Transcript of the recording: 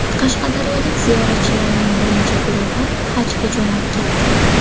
Qashqadaryolik ziyoratchilarning birinchi guruhi Hajga jo‘nab ketdi.